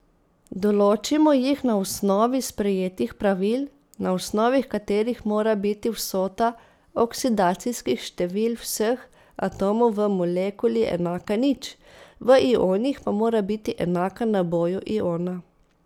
Določimo jih na osnovi sprejetih pravil, na osnovi katerih mora biti vsota oksidacijskih števil vseh atomov v molekuli enaka nič, v ionih pa mora biti enaka naboju iona.